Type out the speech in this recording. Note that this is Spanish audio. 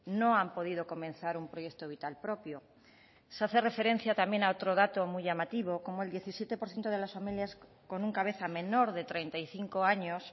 no han podido comenzar un proyecto vital propio se hace referencia también a otro dato muy llamativo cómo el diecisiete por ciento de las familias con un cabeza menor de treinta y cinco años